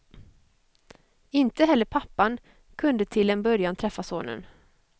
Inte heller pappan kunde till en början träffa sonen.